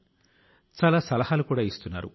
కానీ ఆయన కూడా మనల్ని వదలి వెళ్లిపోయారు